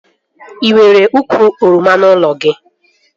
E nwere ukwu oroma n'ụlọ gị?